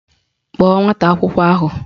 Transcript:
Kpọọ nwata akwụkwọ ahụ!